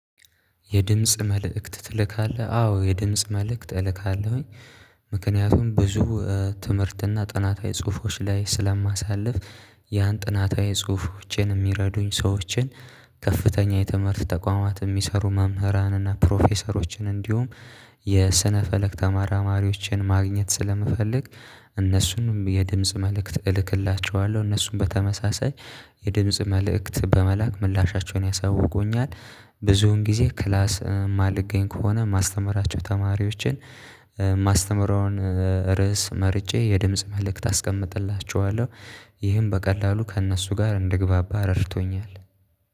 የድምጽ መልእክት ትልካለህ አዎ የድምጽ መልእክት እልካለሁኝ። ምክንያቱም ብዙ ትምህርትና ጥናታዊ ጽሁፎች ላይ ስለማሳልፍ ያን ጥናታዊ ጽሁፎችን የሚረዱኝ ሰዎችን ከፍተኛ የትምህርት ተቋማት የሚሰሩ መምህራንና ፕሮፌሰሮችን እንዲሁም የስነ ፈለግ ተመራማሪዎችን ማግኘት ስለምፈልግ እነሱንም የድምጽ መልእክት እልክላቸዋለሁ እነሱንም በተመሳሳይ የድምጽ መልእክት በመላክ ምላሻቸውን ያሳውቁኛል። ብዙውን ጊዜ ክላስ የማልገኝ ከሆነ ማስተምራቸው ተማሪዎችን ማስተምረውን ርዕስ መርጬ የድምጽ መልእክት አስቀምጥላችኋለሁ። ይህን በቀላሉ ከእነሱ ጋር እንደግባባ ረድቶኛል